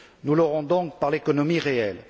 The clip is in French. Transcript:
Nous l'aurons donc par l'économie réelle.